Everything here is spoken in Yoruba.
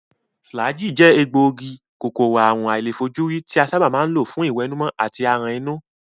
Flagyl je ogun egboogi-Kòkòrò àrùn àìlèfojúrí ti a saba ma n lo fun iwenumo ati aran inu.